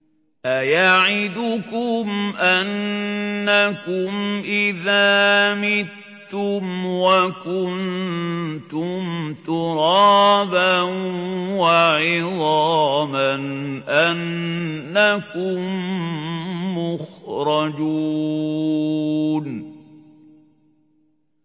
أَيَعِدُكُمْ أَنَّكُمْ إِذَا مِتُّمْ وَكُنتُمْ تُرَابًا وَعِظَامًا أَنَّكُم مُّخْرَجُونَ